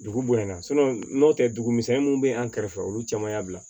Dugu bonyana n'o tɛ dugu misɛnnin mun bɛ an kɛrɛfɛ olu caman y'a bila